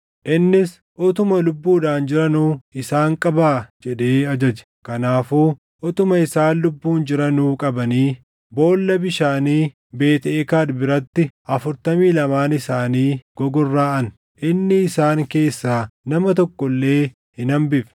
Innis, “Utuma lubbuudhaan jiranuu isaan qabaa!” jedhee ajaje. Kanaafuu utuma isaan lubbuun jiranuu qabanii boolla bishaanii Beet Eekad biratti afurtamii lamaan isaanii gogorraʼan. Inni isaan keessaa nama tokko illee hin hambifne.